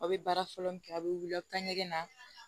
Aw bɛ baara fɔlɔ min kɛ a' bɛ wuli a' bɛ taa ɲɛgɛn na